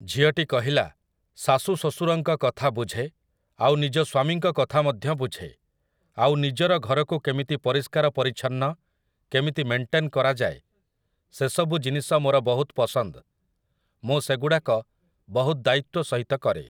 ଝିଅଟି କହିଲା, "ଶାଶୁ ଶ୍ୱଶୁରଙ୍କର କଥା ବୁଝେ, ଆଉ ନିଜ ସ୍ୱାମୀଙ୍କ କଥା ମଧ୍ୟ ବୁଝେ, ଆଉ ନିଜର ଘରକୁ କେମିତି ପରିଷ୍କାର ପରିଚ୍ଛନ୍ନ, କେମିତି ମେଣ୍ଟେନ୍ କରାଯାଏ ସେସବୁ ଜିନିଷ ମୋର ବହୁତ ପସନ୍ଦ, ମୁଁ ସେଗୁଡ଼ାକ ବହୁତ ଦାୟିତ୍ୱ ସହିତ କରେ" ।